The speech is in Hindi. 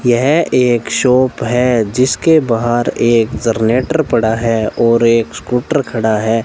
यह एक शॉप है जिसके बाहर एक जरनेटर पड़ा है और एक स्कूटर खड़ा है।